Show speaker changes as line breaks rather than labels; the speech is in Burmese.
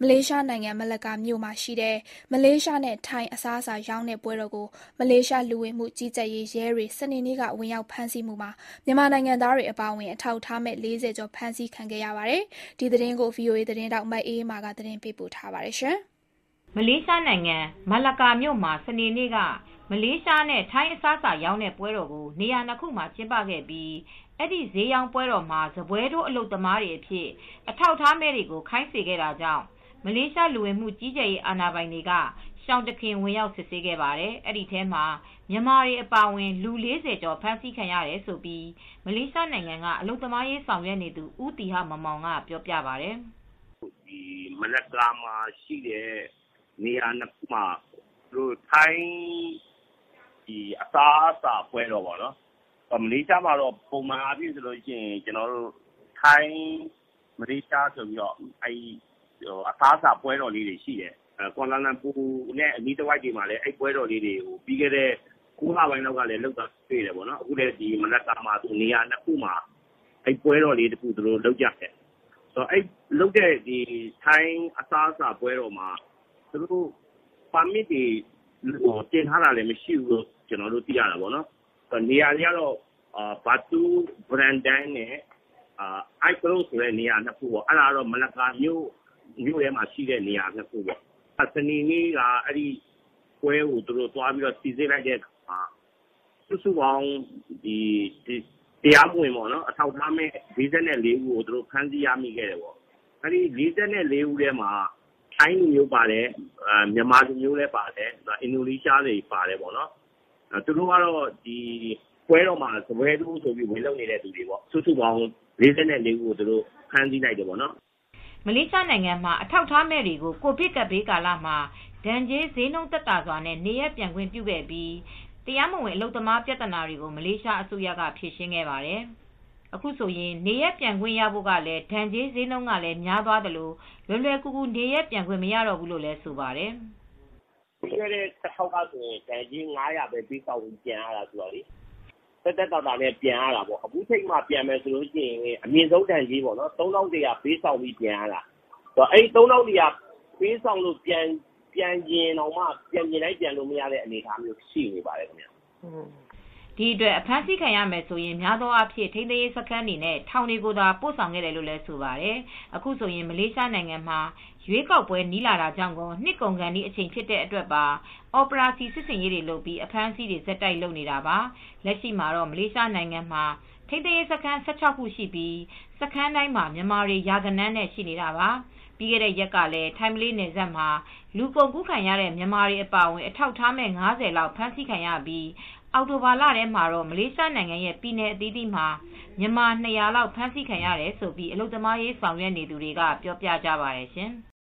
လေးရှားနိုင်ငံမလက္ကာမြို့မှာရှိတဲ့ မလေးရှားနဲ့ထိုင်းအစားအစာရောင်းတဲ့ပွဲတော် ကို မလေးရှားလူဝင်မှုကြီးကြပ်ရေးရဲတွေက စနေနေ့က ဝင်ရောက်ဖမ်းဆီးရာမှာ မြန်မာတွေအပါအဝင် အထောက်အထားမဲ့ ၄၀ ကျော် ဖမ်းဆီးခံရပါတယ်။ ဒီသတင်းကို ဆက်သွယ်စုံစမ်းထားတဲ့ ထိုင်းအခြေစိုက် ဗွီအိုအေသတင်းထောက် မအေးအေးမာကသတင်းပေးပို့ထားပါတယ်။ မလေးရှားနိုင်ငံ မလက္ကာမြို့တွင်းမှာ စနေနေ့က မလေးရှားနဲ့ ထိုင်းအစားအစာရောင်းတဲ့ပွဲတော်ကျင်းပတဲ့နှစ်နေရာကိုမလေးရှားလူဝင်မှုကြီးကြပ်ရေးအာဏာပိုင်တွေက ရှောင်တခင်ဝင်ရောက်စစ်ဆေးခဲ့ပါတယ်။ အဲဒီဈေးရောင်းပွဲတော်မှာ စားပွဲထိုးအလုပ်သမားတွေအဖြစ် အလုပ်လုပ်နေကြတဲ့ မြန်မာအပါအဝင် အထာက် အထားမဲ့သူ ၄၀ ကျော် ဖမ်းဆီးခံခဲ့ရကြောင်း မလေးရှားနိုင်ငံက အလုပ်သမားရေးဆောင်ရွက်နေသူ ဦးသီဟမောင်မောင်ကပြောပြပါတယ်
။ “မလက္ကာမှာရှိတဲ့ နေရာနှစ်ခုမှာ ထိုင်းအစားအစာပွဲတော်ရှိတယ်။ မလေးရှားမှာ ပုံမှန်အားဖြင့် ထိုင်း-မလေးရှားဆိုပြီးပွဲတော်လေးတွေ ရှိတယ်။ ကွာလာလမ်ပူနဲ့အနီးတဝိုက်မှာဆိုလည်း ၉ လပိုင်းလောက်က ထိုင်းအစားအစာပွဲတော်တွေ လုပ်တာရှိတယ်။ အခုလည်း မလက္ကာမှာ နေရာ၂ ခုမှာပွဲတော်လေးတွေလုပ်ကြတယ်။ ထိုင်းအစားအစာပွဲတော်က နေရာ၂ ခုမှာ ပါမစ်တင်ထားတာလည်း မရှိဘူး။ Batu Berendam နဲ့ Ayer Keroh ဆိုတဲ့ နေရာ၂ ခုပေါ့။ စနေ့နေ့က ပွဲကိုစီစစ်လိုက်တဲ့အခါမှာ အထောက်အထားမဲ့ ၄၄ ဦးကိုဖမ်းမိတယ်။ ၄၄ ဦးထဲမှာ ထိုင်းပါတယ်။ မြန်မာပါတယ်။ အင်ဒိုနီးရှားပါတယ်။ သူတို့တွေဟာ အစားအစားပွဲတော်မှာ စားပွဲထိုးလုပ်ကြတဲ့သူတွေဖြစ်ပါတယ်။”
မလေးရှားနိုင်ငံမှာ အထောက်အထားမဲ့တွေကို ကိုဗစ်ကပ်ဘေးကာလမှာ ဒဏ်ကြေးဈေးနှုံးသက်သာစွာနဲ့နေရပ်ပြန်ခွင့်ပေးခဲ့ပြီး တရားမဝင် အလုပ်သမားပြဿနာတွေကို မလေးရှားအစိုးရဖြေရှင်းခဲ့ပါတယ်။ အခုဆိုရင် နေရပ်ပြန်ခွင့်ရဖို့ ဒဏ်ကြေးဈေးနှုံးကလည်း များသွားသလို လွယ်လွယ်ကူကူနေရပ်ပြန်ခွင့်မရတော့ဘူးလို့လည်းဆိုပါတယ်။
“ပြီးခဲ့တဲ့တခေါက်က ဒဏ်ကြေး မလေးရှားရစ်ဂစ် ၅၀၀ နဲ့ပြန်ရတယ်။ အခုချိန်မှာပြန်မယ်ဆိုရင် အမြင့်ဆုံးဒဏ်ကြေး မလေးရှားရင်းဂစ် ၃,၁၀၀ နဲ့ပြန်ရမှာဖြစ်တယ်။အခုချိန်မှာ ၃,၁၀၀ ပေးရင်တောင် ပြန်ချင်းတိုင်းပြန်လို့မရပါဘူ
း။” ဒီအတွက်အဖမ်းဆီးခံရမယ်ဆိုရင် များသောအားဖြင့် ထိန်းသိမ်းရေးစခန်းတွေ၊ ထောင်တွေကိုသာပို့ဆောင်ခဲ့တယ်လို့လည်း ဆိုပါတယ်။ အခုဆိုရင်မလေးရှားနိုင်ငံမှာရွေးကောက်ပွဲနီးလာတာကြောင့်ကော နှစ်ကုန်ခါနီးအချိန်ဖြစ်တဲ့အတွက်ပါ အော်ပရာစီစစ်ဆင်ရေးတွေနဲ့ အဖမ်းအဆီးတွေ ဆက်တိုက်လုပ်နေတာပါ။ လက်ရှိ မလေးရှားနိုင်ငံမှာ ထိန်းသိမ်းရေးစခန်း ၁၆ ခုရှိပြီး စခန်းတိုင်းမှာ မြန်မာတွေ ရာဂဏန်းနဲ့ရှိနေပါတယ်။ ပြီးခဲတဲ့ရက်ကလည်း ထိုင်းမလေးနယ်စပ်မှာ လူကုန် ကူးခံရတဲ့မြန်မာတွေအပါအဝင် အထောက်မဲ့ ၅၀ လောက် ဖမ်းဆီးခံရပြီး အောက် တိုဘာလထဲမှာတော့ မလေးရှားနိုင်ငံရဲ့ပြည်နယ်အသီးသီးမှာ မြန်မာ၂၀၀ လောက်အဖမ်းဆီးခံရတယ်လို့ အလုပ်သမားရေးဆောင်ရွက်နေသူတွေက ပြောပြကြပါတယ်ရှင်။